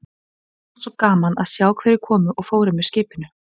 Öllum fannst svo gaman að sjá hverjir komu og fóru með skipinu.